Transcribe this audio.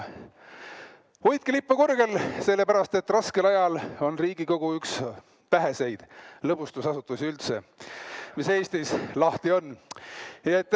Hoidke lippu kõrgel, sellepärast et raskel ajal on Riigikogu üks väheseid lõbustusasutusi üldse, mis Eestis lahti on!